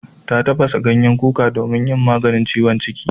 Ta tafasa ganyen kuka domin maganin ciwon ciki.